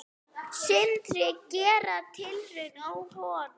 Sindri: Gera tilraun á honum?